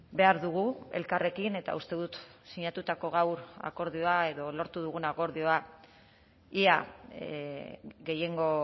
behar dugu elkarrekin eta uste dut sinatutako gaur akordioa edo lortu dugun akordioa ia gehiengo